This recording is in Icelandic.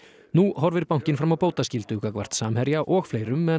nú horfir bankinn fram á bótaskyldu gagnvart Samherja og fleirum en